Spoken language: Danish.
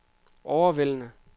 overvældende